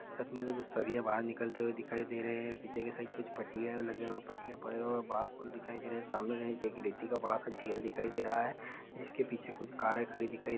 छत में से कुछ सरिया बहार निकलते हुए दिखाई दे रहे हैं पीछे के साइड कुछ पटिया लगे हुए हैं पटिया पड़े हुए हैं बाँस पड़े हुए दिखाई दे रहे हैं | सामने कहीं देखो रेती का बड़ा सा ढेर दिखाई दे रहा है जिसके पीछे कुछ कारें खड़ी दिखाई दे रही हैं |